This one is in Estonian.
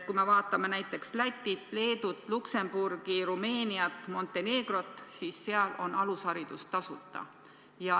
Kui me vaatame näiteks Lätit, Leedut, Luksemburgi, Rumeeniat, Montenegrot, siis näeme, et seal on alusharidus tasuta.